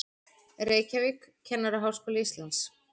Reykjavík, Kennaraháskóli Íslands.